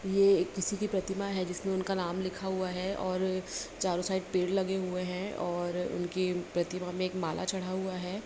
ये किसी की प्रतिमा है जिसपे उनका नाम लिखा हुआ है और चारों साइड पेड़ लगे हुए हैं और उनकी प्रतिमा में एक माला चढ़ा हुआ है।